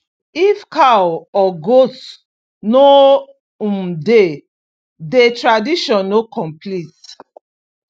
if cow or goat no um dey dey tradition no complete